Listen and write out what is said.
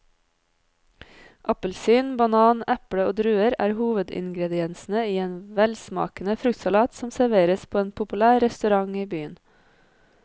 Appelsin, banan, eple og druer er hovedingredienser i en velsmakende fruktsalat som serveres på en populær restaurant i byen.